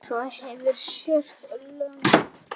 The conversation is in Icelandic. Svo hafa sést lömb.